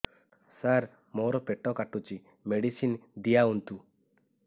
ସାର ମୋର ପେଟ କାଟୁଚି ମେଡିସିନ ଦିଆଉନ୍ତୁ